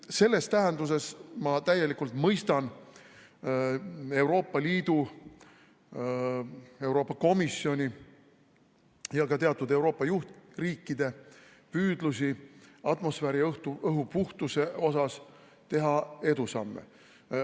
Selles tähenduses ma täielikult mõistan Euroopa Liidu, Euroopa Komisjoni ja ka teatud Euroopa juhtriikide püüdlusi teha atmosfääriõhu puhtuses edusamme.